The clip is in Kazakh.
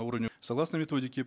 согласно методике